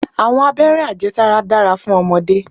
Àwọn abéré ajé sára dára fún ọmọdé.